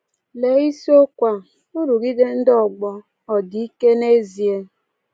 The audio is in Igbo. Lee isiokwu a Nrụgide Ndị Ọgbọ Ọ Dị Ike n’Ezie?